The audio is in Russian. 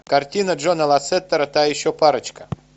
картина джона лассетера та еще парочка